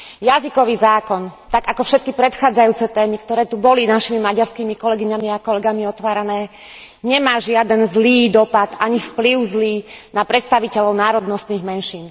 Jazykový zákon, tak ako všetky predchádzajúce témy, ktoré tu boli našimi maďarskými kolegyňami a kolegami otvárané, nemá žiaden zlý dopad ani vplyv na predstaviteľov národnostných menšín.